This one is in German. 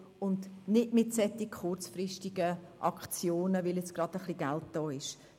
Das geht nicht mit solchen kurzfristigen Aktionen, weil jetzt gerade ein wenig Geld da ist.